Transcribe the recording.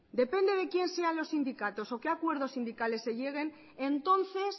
depende de quién sean los sindicatos o qué acuerdos sindicales se lleguen entonces